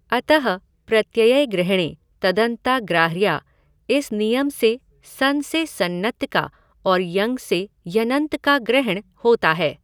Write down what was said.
अतः प्रत्ययग्रहणे तदन्ता ग्राह्याः इस नियम से सन् से सन्नन्त का और यङ् से यङन्त का ग्रहण होता है।